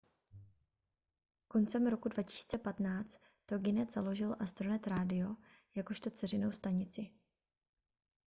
koncem roku 2015 toginet založil astronet radio jakožto dceřinou stanici